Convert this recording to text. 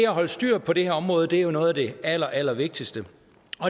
holde styr på det her område er jo noget af det allerallervigtigste